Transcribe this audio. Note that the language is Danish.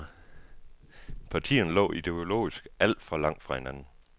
Partierne lå ideologisk alt for langt fra hinanden.